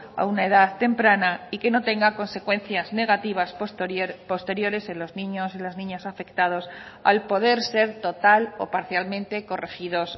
a una edad temprana y que no tenga consecuencias negativas posteriores en los niños y las niñas afectados al poder ser total o parcialmente corregidos